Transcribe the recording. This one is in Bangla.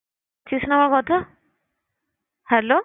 না আমার কথা? hello